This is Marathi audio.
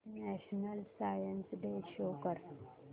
नॅशनल सायन्स डे शो कर